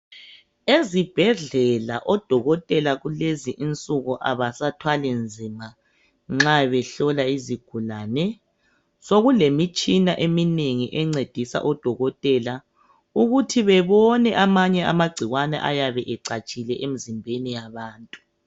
Ezibhedlela odokotela kulezi insuku abasathwali nzima nxa behlola izigulane. Sokulemitshina eminengi encedisa odokotela ukuthi bebone amanye amagcikwane ayabe ecatshile emzimbeni yabantu.